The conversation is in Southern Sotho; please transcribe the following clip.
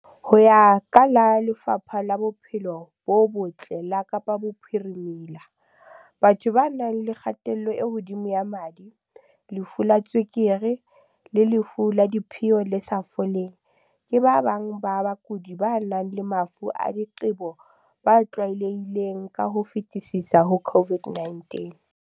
Ho ya ka Lefapha la Bophelo bo Botle la Kapa Bophirime-la, batho ba nang le kgatello e hodimo ya madi, lefu la tswe-kere le lefu la diphio le sa foleng, ke ba bang ba bakudi ba nang le mafu a diqebo ba tlwaelehileng ka ho fetisisa ho COVID-19.